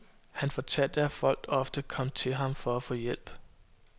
Han fortalte, at folk ofte kom til ham for at få hjælp.